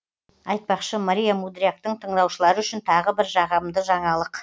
айтпақшы мария мудряктың тыңдаушылары үшін тағы бір жағымды жаңалық